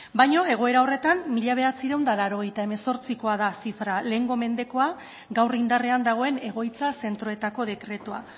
baino egoera horretan mila bederatziehun eta laurogeita hemezortzikoa da zifra lehengo mendekoa gaur indarrean dagoen egoitza zentroetako dekretua